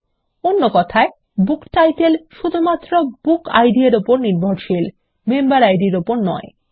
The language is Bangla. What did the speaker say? অন্য কথায় বুকটাইটেল শুধুমাত্র বুকিড -এর উপর নির্ভরশীল মেম্বার ইদ এর উপর নয়